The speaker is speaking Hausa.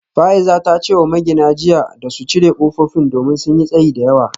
Fa’iza ta ce wa magina jiya da su cire kofofin domin sun yi tsayi da yawa